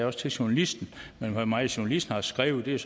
også til journalisten men hvor meget journalisten har skrevet